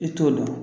I t'o dɔn